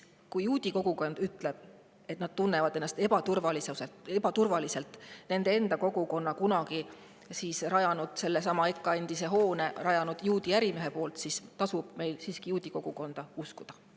Kui juudi kogukond ütleb, et nad tunnevad ennast ebaturvaliselt – sellesama EKA endise hoone on rajanud nende kogukonda kuulunud juudi ärimees –, siis tasub meil juudi kogukonda siiski uskuda.